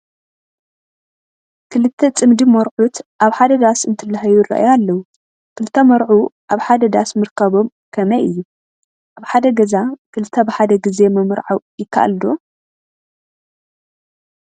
ክልተ ፅምዲ ሞርዑት ኣብ ሓደ ዳስ እንትልሃዩ ይርአዩ ኣለዉ፡፡ ክልተ መርዑ ኣብ ሓደ ዳስ ምርካቦም ከመይ እዩ? ኣብ ሓደ ገዛ ክልተ ብሓደ ግዜ ምምርዓው ይከኣል ዶ?